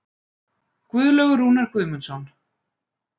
Guðlaugur Rúnar Guðmundsson.